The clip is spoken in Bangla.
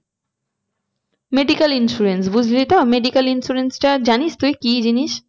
Medical insurance বুঝলি তো medical insurance টা জানিস তুই কি জিনিস?